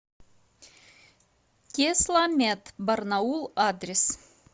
тесламед барнаул адрес